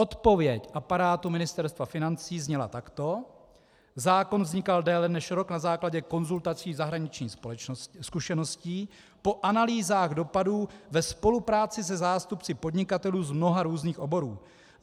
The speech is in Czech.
Odpověď aparátu Ministerstva financí zněla takto: Zákon vznikal déle než rok na základě konzultací zahraničních zkušeností, po analýzách dopadů ve spolupráci se zástupci podnikatelů z mnoha různých oborů.